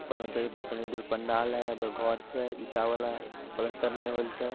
ऊपर में कनी दूर पंडाल छै घर छै ईटा वाला पलस्तर ने होल छै।